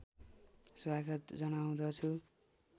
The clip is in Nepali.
स्वागत जनाउँदछु